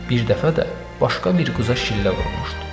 Bir dəfə də başqa bir qıza şillə vurmuşdu.